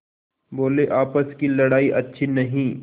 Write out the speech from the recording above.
बोलेआपस की लड़ाई अच्छी नहीं